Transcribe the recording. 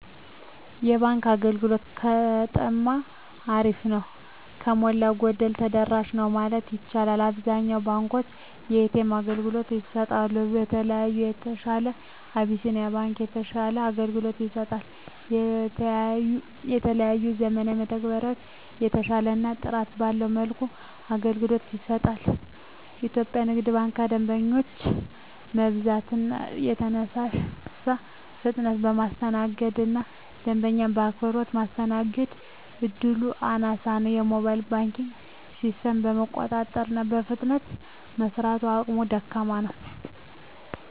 የባንክ አገልግሎት በጠማ አሪፍ ነው። ከሞላ ጎደል ተደራሽ ነው ማለት ይቻላል። አብዛኛውን ባንኮች የኤ.ተ.ኤም አገልግሎት ይሰጣሉ። ከሌላው በተሻለ አብሲኒያ ባንክ የተሻለ አገልግሎት ይሰጣል። የተለያዩ ዘመናዊ መተግበሪያዎችን በተሻለና ጥራት ባለው መልኩ አገልግሎት ይሰጣል። ኢትዮጵያ ንግድ ባንክ ከደንበኛ መብዛት የተነሳ በፍጥነት የማስተናገድ እና ደንበኛ በአክብሮት ማስተናገድ እድሉ አናሳ ነው። የሞባይል ባንኪንግ ሲስተሙም የመቆራረጥ እና በፍጥነት የመስራት አቅሙ ደካማ ነው።